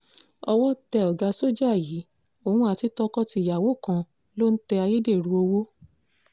owó tẹ ọ̀gá sójà yìí òun àti tọkọ-tìyàwó kan ló ń tẹ ayédèrú owó